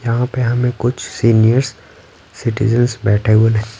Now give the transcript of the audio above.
यहाँ पे हमें कुछ सीनियर्स सिटीजंस बैठे हुए दि--